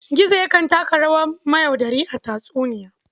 Gizo yakan taka rawa mayaudari a tatsuniya.